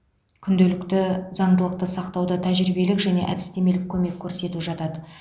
күнделікті заңдылықты сақтауда тәжірибелік және әдістемелік көмек көрсету жатады